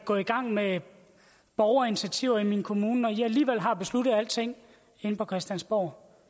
gå i gang med borgerinitiativer i min kommune når i alligevel har besluttet alting inde på christiansborg